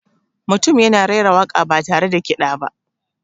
Mutum yana raira waka ba tare da kiɗa ba.